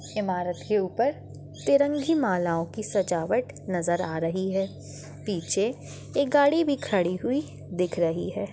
इमारत के ऊपर तिरंगी मालाओं की सजावट नजर आ रही है पीछे एक गाड़ी भी खड़ी हुई दिख रही है।